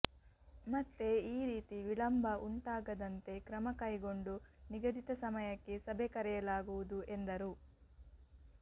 ಮತ್ತೆ ಈ ರೀತಿ ವಿಳಂಬ ಉಂಟಾಗದಂತೆ ಕ್ರಮಕೈಗೊಂಡು ನಿಗದಿತ ಸಮಯಕ್ಕೆ ಸಭೆ ಕರೆಯಲಾಗುವುದು ಎಂದರು